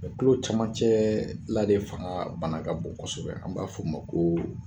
Mɛ tulo caman cɛ la de fanga ka bana ka bon kosɛbɛ, an b'a fɔ o ma ko